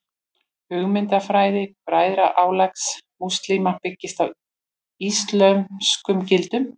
Hugmyndafræði Bræðralags múslíma byggist á íslömskum gildum.